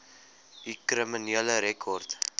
u kriminele rekord